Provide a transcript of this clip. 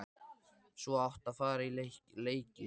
Svo átt að fara í leiki.